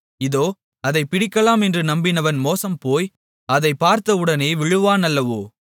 இதோ அதைப் பிடிக்கலாம் என்று நம்பினவன் மோசம்போய் அதைப் பார்த்தவுடனே விழுவான் அல்லவோ